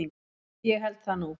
Ég held það nú.